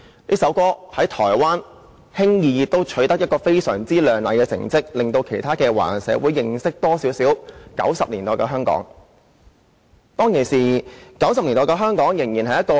這首歌在台灣也輕易取得非常亮麗的成績，令其他華人社會對1990年代的香港有更多認識。